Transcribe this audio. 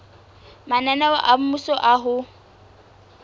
mananeo a mmuso a ho